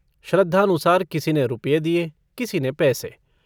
श्रद्धानुसार किसी ने रुपये दिए, किसी ने पैसे।